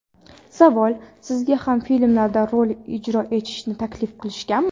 Savol: Sizga ham filmlarda rol ijro etishni taklif qilishganmi?